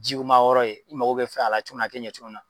Jiw ma yɔrɔ ye i mago be fɛn a la cogo min a te ɲɛ cogo min na